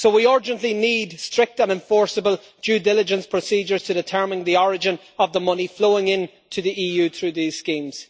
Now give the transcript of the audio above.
So we urgently need strict and enforceable due diligence procedures to determine the origin of the money flowing into the EU through these schemes.